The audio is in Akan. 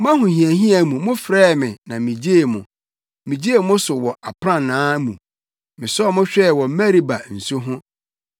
Mo ahohiahia mu mofrɛɛ me na migyee mo, migyee mo so wɔ aprannaa mu; mesɔɔ mo hwɛɛ wɔ Meriba nsu ho.